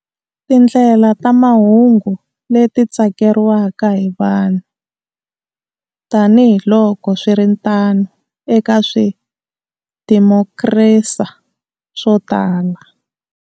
Tindlela ta mahungu leti tsakeriwaka hi vanhu, tanihiloko swiritano eka swidimokirasi swo tala.